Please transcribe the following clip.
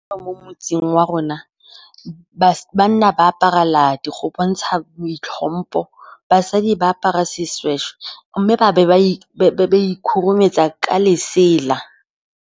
Ba ba mo motseng wa rona banna ba apara ladi go bontsha boitlhompho. Basadi ba apara seshweshwe, mme ba be ba ikgurumetsa ka lesela.